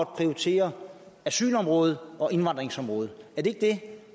prioritere asylområdet og indvandringsområdet er det ikke det